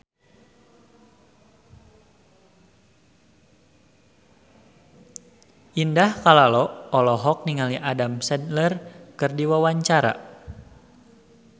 Indah Kalalo olohok ningali Adam Sandler keur diwawancara